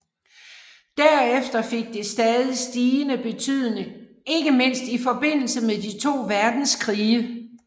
Derefter fik det stadig stigende betydning ikke mindst i forbindelse med de to verdenskrige